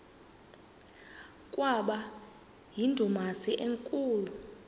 kwaba yindumasi enkulu